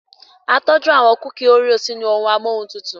a tọju àwọn kuki Oreo sínú Amóhuntutù.